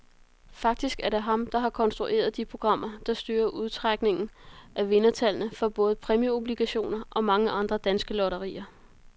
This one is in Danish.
Faktisk er det ham, der har konstrueret de programmer, der styrer udtrækningen af vindertallene for både præmieobligationer og mange andre danske lotterier.